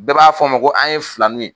Bɛɛ b'a f'an ma ko an ye filanuw ye.